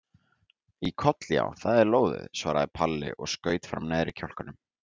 Í koll já, það er lóðið, svaraði Palli og skaut fram neðri kjálkanum.